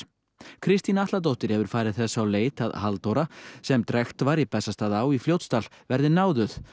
Kristín Atladóttir hefur farið þess á leit að Halldóra sem drekkt var í Bessastaðaá í Fljótsdal verði náðuð